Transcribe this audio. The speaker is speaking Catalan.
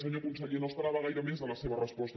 senyor conseller no esperava gaire més de la seva resposta